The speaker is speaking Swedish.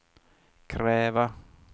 kräva